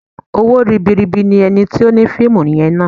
Owó ribi ribi ni ẹni tí ó ni fíìmù yẹn ná.